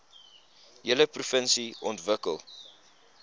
hele provinsie ontwikkel